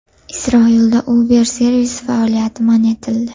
Isroilda Uber servisi faoliyati man etildi.